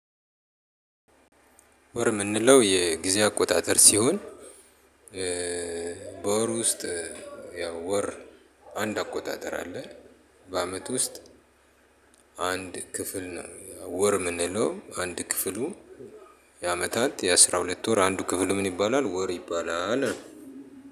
ወር የምንለው የጊዜ አቆጣጠር ሲሆን። በወር ውስጥ ያው ወር አንድ አቆጣጠር አለ። በአመት ውስጥ አንድ ክፍል ነው ወር የምንለው አንድ ክፍሉ የአመታት የአስራ ሁለት ወር አንዱ ክፍል ምን ይባላል? ወር ይባላል።